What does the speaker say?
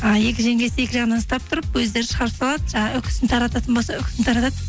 ы екі жеңгесі екі жағынан ұстап тұрып өздері шығарып салады жаңағы үкісін тарататын болса үкісін тарады